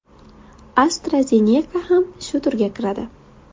AstraZeneca ham shu turga kiradi.